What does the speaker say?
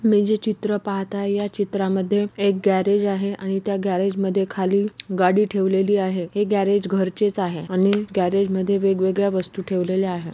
मी जे चित्र पाहत आहे. या चित्रा मध्ये एक गॅरेज आहे. आणि त्या गॅरेज मध्ये खाली गाडी ठेवलेली आहे. हे गॅरेज घरचेच आहे आणि गॅरेज मध्ये वेगवेळ्या वस्तु ठेवलेल्या आहे.